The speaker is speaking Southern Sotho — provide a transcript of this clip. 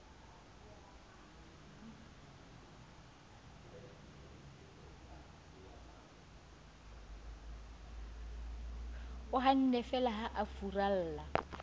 hannefeela ha eo a furalla